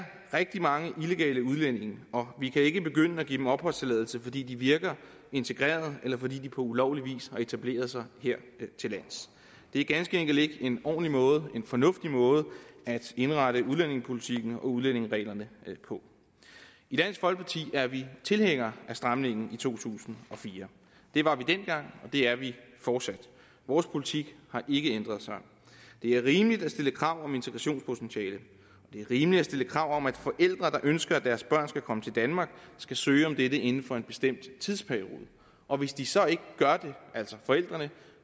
rigtig mange illegale udlændinge og vi kan ikke begynde at give dem opholdstilladelse fordi de virker integreret eller fordi de på ulovlig vis har etableret sig hertillands det er ganske enkelt ikke en ordentlig måde en fornuftig måde at indrette udlændingepolitikken og udlændingereglerne på i dansk folkeparti er vi tilhænger af stramningen i to tusind og fire det var vi dengang og det er vi fortsat vores politik har ikke ændret sig det er rimeligt at stille krav om integrationspotentiale det er rimeligt at stille krav om at forældre der ønsker at deres børn skal komme til danmark skal søge om dette inden for en bestemt tidsperiode og hvis de så ikke gør det altså forældrene